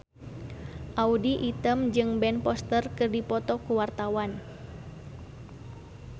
Audy Item jeung Ben Foster keur dipoto ku wartawan